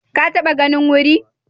Ka taɓa ganin wuri?